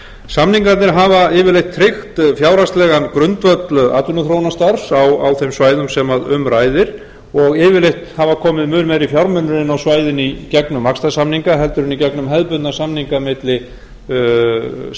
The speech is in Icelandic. samningarnir hafa yfirleitt tryggt fjárhagslegan grundvöll atvinnuþróunarstarfs á þeim svæðum sem um ræðir og yfirleitt hafa komið mun meiri fjármunir inn á svæðin í gegnum vaxtarsamninga heldur en í gegnum hefðbundna samninga milli sveitarfélaga